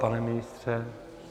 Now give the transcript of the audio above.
Pane ministře?